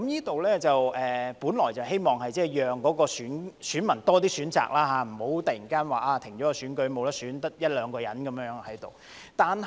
這安排本來是希望讓選民有更多選擇，免得突然停止選舉，只剩一兩個候選人而無法選。